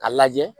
A lajɛ